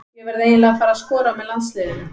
Ég verð eiginlega að fara að skora með landsliðinu.